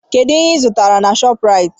Kedụ ihe ịzụtara na Shọpraịt?